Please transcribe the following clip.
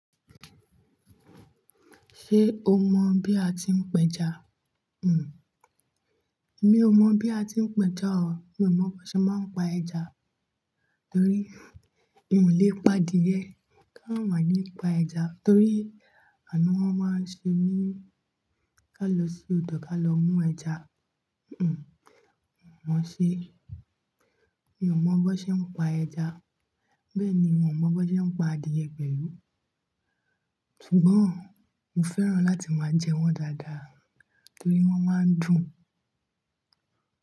Ṣé o mọ bí a ti ń pẹja? Mi ò mọ bí a ti ń pẹja o. Mi ò mọ bó n ṣe máa ń pa ẹja torí mi ò lè pa adìyẹ. Kàn wá nípa ẹja torí ànu wọn máa ń ṣe mí ká lọ sí odò ká lọ mú ẹja. Hmm, mọ̀ ṣe. Mi ò mọ bó ṣe ń pa ẹja, bẹ́ẹ̀ ni mi ò mọ bó ṣe ń pa adìye pẹ̀lú. Ṣùgbọ́n mo fẹ́ràn láti máa jẹ wọ́n dáadáa torí wọ́n máa ń dùn.